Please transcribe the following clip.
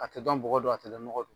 A tɛ dɔn bɔgɔ don a tɛ dɔn nɔgɔ don